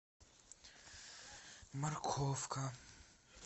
морковка